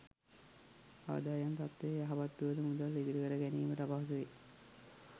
ආදායම් තත්ත්වය යහපත් වුවද මුදල් ඉතිරිකර ගැනීමට අපහසුවේ.